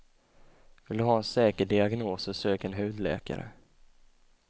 Vill du ha en säker diagnos så sök en hudläkare.